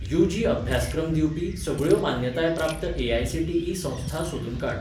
UG अभ्यासक्रम दिवपी सगळ्यो मान्यताय प्राप्त ए.आय.सी.टी.ई संस्था सोदून काड.